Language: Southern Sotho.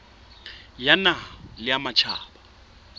ya naha le ya matjhaba